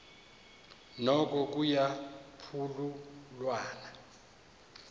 noko kuya phululwana